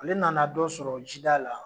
Ale nana dɔ sɔrɔ jida la.